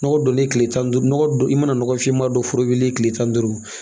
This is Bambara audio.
Nɔgɔ donnen tile tan ni duuru nɔgɔ don i mana nɔgɔ fiman don foro wulilen tile tan ni duuru